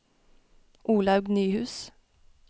Olaug Nyhus